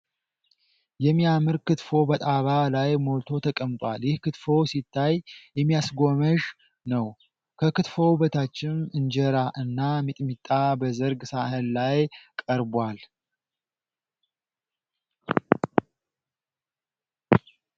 የሚያምር ክትፎ በጣባ ላይ ሞልቶ ተቀምጧል። ይህ ክትፎ ሲታይ የሚያስጎመዥ ነው። ከክትፎው በታችም እንጀራ እና ሚጥሚጣ በዝርግ ሳህን ላይ ቀርቧል።